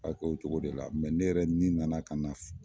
A k'o cogo de la ne yɛrɛ ni nana ka na